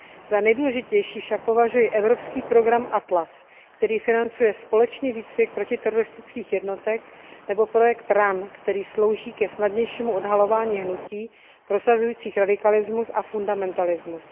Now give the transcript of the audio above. Za nejdůležitější však považuji evropský program ATLAS, který financuje společný výcvik protiteroristických jednotek, nebo projekt RAN, který slouží ke snadnějšímu odhalování hnutí prosazujících radikalismus a fundamentalismus.